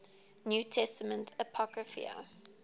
new testament apocrypha